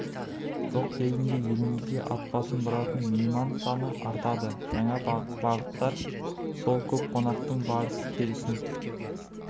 жоқ кезінде елімізге ат басын бұратын мейман саны артады жаңа бағыттар сол көп қонақтың барыс-келісін